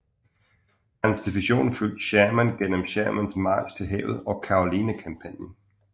Hans division fulgte Sherman gennem Shermans march til havet og Carolina kampagnen